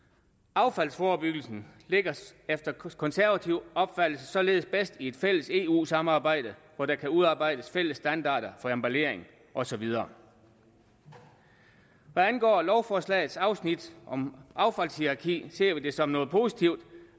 affaldsforebyggelsen ligger efter konservativ opfattelse således bedst i et fælles eu samarbejde hvor der kan udarbejdes fælles standarder for emballering og så videre hvad angår lovforslagets afsnit om affaldshierarki ser vi det som noget positivt